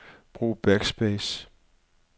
Brug backspace.